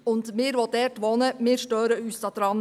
Wir Anwohnenden stören uns nicht daran.